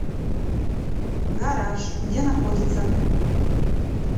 гараж где находится